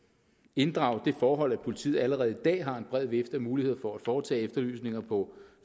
inddrage det forhold at politiet allerede i dag har en bred vifte af muligheder for at foretage efterlysninger på